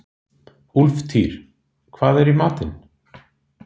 Úlftýr, hvað er í matinn?